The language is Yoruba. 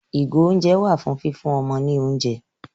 Ìgò-oúnjẹ wà fún fífún ọmọ ní oúnjẹ.